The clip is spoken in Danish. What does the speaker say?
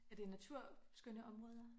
Er det naturskønne områder?